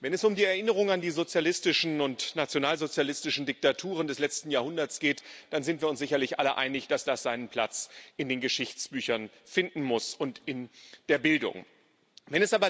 Wenn es um die Erinnerung an die sozialistischen und nationalsozialistischen Diktaturen des letzten Jahrhunderts geht, dann sind wir uns sicherlich alle einig, dass das seinen Platz in den Geschichtsbüchern und in der Bildung finden muss.